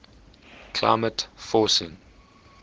climate forcing